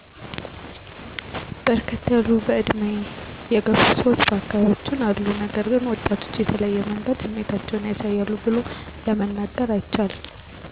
በርከት ያሉ በዕድሜ የገፉ ሰዎች በአካባቢያችን አሉ ነገር ግን ወጣቶች በተለየ መንገድ ስሜታቸውን ያሳያሉ ቡሎ ለመናገር አይቻልም።